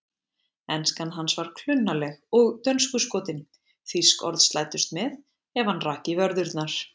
Enskan hans var klunnaleg og dönskuskotin, þýsk orð slæddust með ef hann rak í vörðurnar.